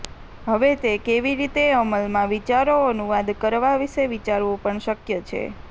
હવે તે કેવી રીતે અમલમાં વિચારો અનુવાદ કરવા વિશે વિચારવું પણ શક્ય છે